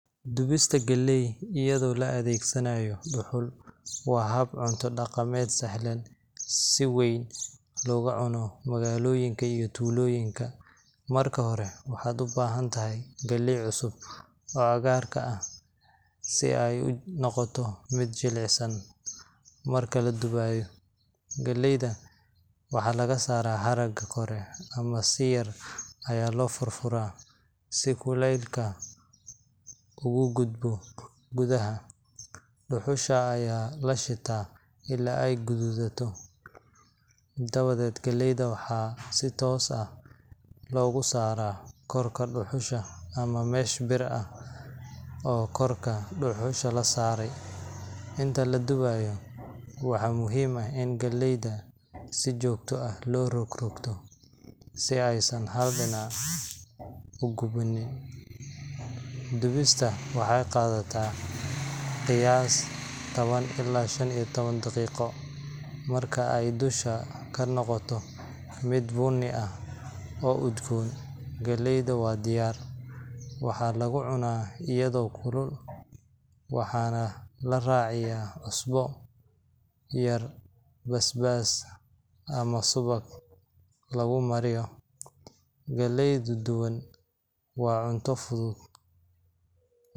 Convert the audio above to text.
Dubista galley iyadoo la adeegsanayo dhuxul waa hab cunto dhaqameed sahlan oo si weyn looga cuno magaalooyinka iyo tuulooyinka. Marka hore, waxaad u baahan tahay galley cusub oo cagaarka ah, si ay u noqoto mid jilicsan marka la dubayo. Galleyda waxaa laga saaraa haragga kore ama si yar ayaa loo furfuraa, si kulaylka ugu gudbo gudaha. Dhuxusha ayaa la shitaa ilaa ay gaduudato, dabadeed galleyda waxaa si toos ah loogu saaraa korka dhuxusha ama mesh bir ah oo korka dhuxusha la saaray. Inta la dubayo, waxaa muhiim ah in galleyda si joogto ah loo rogrogto si aysan hal dhinac u gubanin. Dubista waxay qaadan kartaa qiyaastii 10 ilaa 15 daqiiqo. Marka ay dusha ka noqoto mid bunni ah, oo udgoon, galleyda waa diyaar. Waxaa lagu cunaa iyadoo kulul, waxaana la raaciyaa cusbo yar, basbaas, ama subag lagu mariyo. Galley duban waa cunto fudud.